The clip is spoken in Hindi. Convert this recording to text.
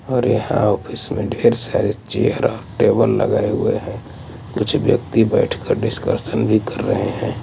और यहां ऑफिस में ढेर सारे चेयर और टेबल लगाए हुए हैं कुछ व्यक्ति बैठकर डिस्कशन भी कर रहे हैं।